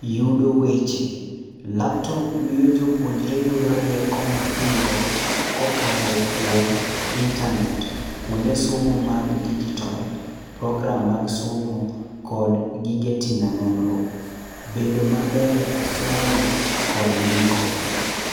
Yudo weche. Laptop miyo jopuonjre yudo rieko mapiyo kokalo kuom intanet. kuonde somo mag digital, program mag somo kod gige timo nonro. Bedo maber e somo kod ndiko.